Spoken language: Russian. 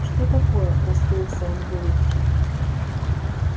что такое расплылся он в улыбке